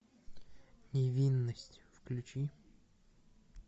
невинность включи